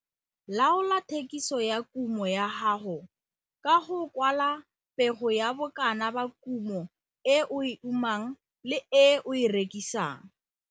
Laola thekiso ya kumo ya gago ka go kwala pego ya bokana ba kumo e o e umang le e o e rekisang.